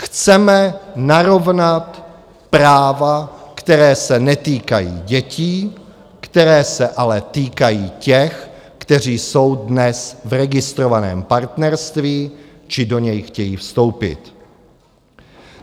Chceme narovnat práva, která se netýkají dětí, která se ale týkají těch, kteří jsou dnes v registrovaném partnerství či do něj chtějí vstoupit.